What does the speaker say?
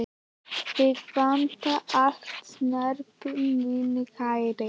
Þig vantar alla snerpu, minn kæri.